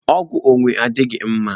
Ọgwụ onwe adịghị mma